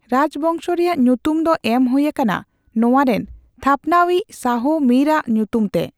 ᱨᱟᱡᱽ ᱵᱚᱝᱥᱚ ᱨᱮᱭᱟᱜ ᱧᱩᱛᱩᱢ ᱫᱚ ᱮᱢ ᱦᱳᱭᱟᱠᱟᱱᱟ ᱱᱚᱣᱟ ᱨᱮᱱ ᱛᱷᱟᱯᱱᱟᱣᱤᱡ ᱥᱟᱦᱚ ᱢᱤᱨ ᱟᱜ ᱧᱩᱛᱩᱢ ᱛᱮ ᱾